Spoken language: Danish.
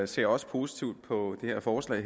ser også positivt på det her forslag